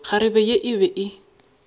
kgarebe ye e be e